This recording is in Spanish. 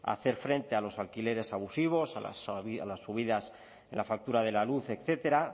hacer frente a los alquileres abusivos a las subidas en la factura de la luz etcétera